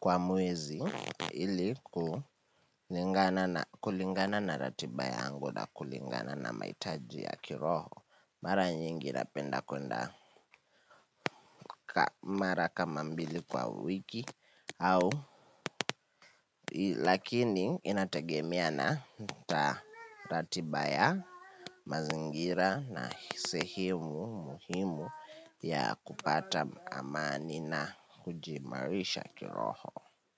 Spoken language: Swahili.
kwa mwezi ili kulingana na ratiba yangu na kulingana na mahitaji ya kiroho. Mara nyingi napenda kuenda mara kama mbili kwa wiki au lakini inategemea na ratiba ya mazingira na sehemu muhimu ya kupata amani na kujiimarisha kiroho.